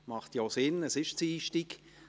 Dies macht ja auch Sinn, es ist Dienstag.